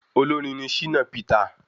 Olórin ní Shina Peter